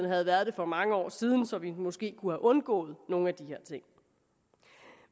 havde været det for mange år siden så vi måske kunne have undgået nogle af de her ting